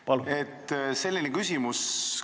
Protseduuriline küsimus.